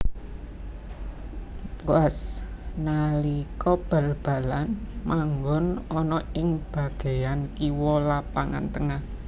Boaz nalika bal balan manggon ana ing bageyan kiwa lapangan tengah